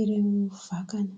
ireo vakana.